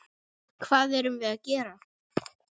Hvað erum við gera?